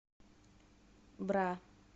бра